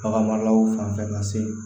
Bagan maralaw fan fɛ ka se